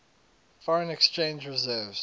foreign exchange reserves